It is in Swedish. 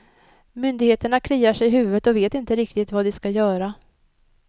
Myndigheterna kliar sig i huvudet och vet inte riktigt vad de ska göra.